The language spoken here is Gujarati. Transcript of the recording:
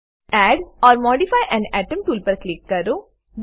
add or modify an atom tool પર ક્લિક કરો